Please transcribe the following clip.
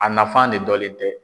A nafan ne dɔnlen tɛ.